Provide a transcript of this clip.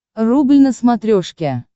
рубль на смотрешке